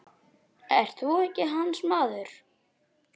Ert þú ekki hans maður?